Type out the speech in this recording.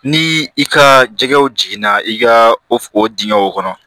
Ni i ka jɛgɛw jiginna i ka o dingɛnw kɔnɔ